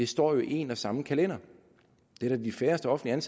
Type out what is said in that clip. står jo i en og samme kalender det er da de færreste offentligt